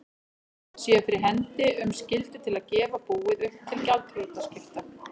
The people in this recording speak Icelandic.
séu fyrir hendi um skyldu til að gefa búið upp til gjaldþrotaskipta.